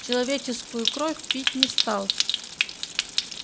человеческую кровь пить не стал